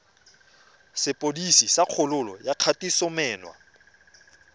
sepodisi sa kgololo ya kgatisomenwa